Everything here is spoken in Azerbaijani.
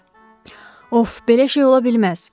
Of, belə şey ola bilməz.